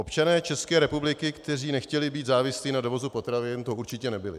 Občané České republiky, kteří nechtěli být závislí na dovozu potravin, to určitě nebyli.